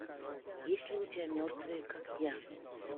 есть ли у тебя мертвые как я